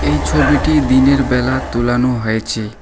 এই ছবিটি দিনেরবেলা তোলানো হয়েছে।